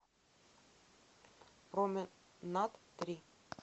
променад три